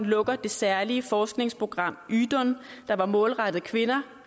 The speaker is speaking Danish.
lukker det særlige forskningsprogram ydun der var målrettet kvinder